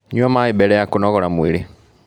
Nyua maĩ mbele ya kũnogora mwĩrĩ